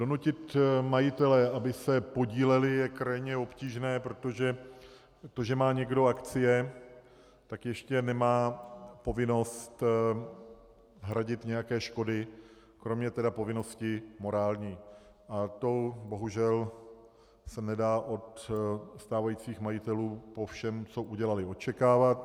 Donutit majitele, aby se podíleli, je krajně obtížné, protože to, že má někdo akcie, tak ještě nemá povinnost hradit nějaké škody, kromě tedy povinnosti morální, a to bohužel se nedá od stávajících majitelů po všem, co udělali, očekávat.